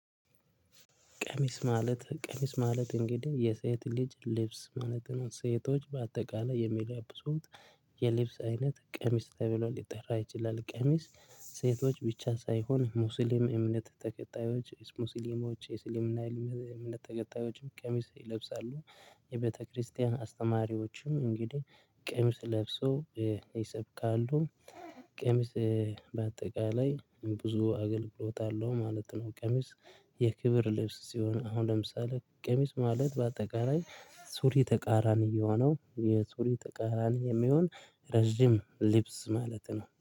ቀሚስ ማለት፣ ቀሚስ ማለት እንግዲህ የሴት ልጅ ልብስ ማለት ነው። ሴቶች በአጠቃላይ የሚለብሱት የልብስ አይነት ቀሚስ ተብሎ ሊጠራ ይችላል። ቀሚስ ሴቶች ብቻ ሳይሆን ሙስሊም እምነት ተከታዮች፣ ሙስሊሞች፣ ኢስላምን አይልምም እምነት ተከታዮችም ቀሚስ ይለብሳሉ። የቤተ ክርስቲያን አስተማሪዎችም እንግዲህ ቀሚስ ለብሶ ይሰብካሉ። ቀሚስ በአጠቃላይ ብዙ አገልግሎት አለው ማለት ነው። ቀሚስ የክብር ልብስ ሲሆን አሁን ለምሳሌ ቀሚስ ማለት በአጠቃላይ ሱሪ ተቃራኒ የሆነ ነው። የሱሪ ተቃራኒ የሚሆን ረጅም ልብስ ማለት ነው።